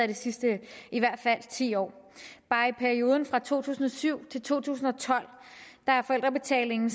de sidste ti år bare i perioden fra to tusind og syv til to tusind og tolv er forældrebetalingen